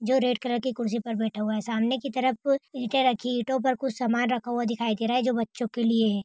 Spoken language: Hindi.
जो रेड कलर की कुर्सी पे बैठा है सामने की तरफ ईटा राखी है इटो पे कुछ सामान रखा हुआ दिखाई दे रहा है जो बच्चो के लिए है।